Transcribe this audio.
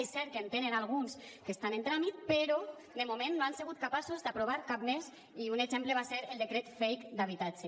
és cert que en tenen alguns que estan en tràmit però de moment no han sigut capaços d’aprovar ne cap més i un exemple va ser el decret fake d’habitatge